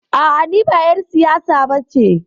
A'a, ni ba ƴar siyasa ba ce.